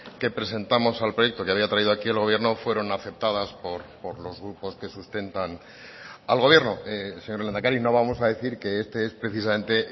que presentamos al proyecto que había traído aquí el gobierno fueron aceptadas por los grupos que sustentan al gobierno señor lehendakari no vamos a decir que este es precisamente